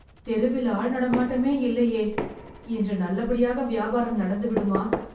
தெருவில் ஆள் நடமாட்டமே இல்லையே.. இன்று நல்லபடியாக வியாபாரம் நடந்துவிடுமா